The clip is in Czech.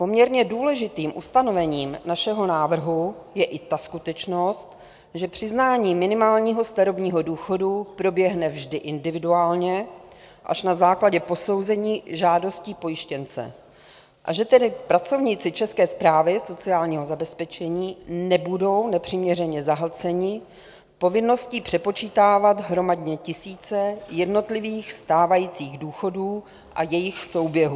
Poměrně důležitým ustanovením našeho návrhu je i ta skutečnost, že přiznání minimálního starobního důchodu proběhne vždy individuálně až na základě posouzení žádosti pojištěnce, a že tedy pracovníci České správy sociálního zabezpečení nebudou nepřiměřeně zahlceni povinností přepočítávat hromadně tisíce jednotlivých stávajících důchodů a jejich souběhů.